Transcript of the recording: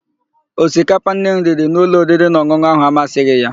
Osikapa Nne m riri n'ụlọ oririnaọn̄ụn̄ụ áhụ̀ amasịghị ya.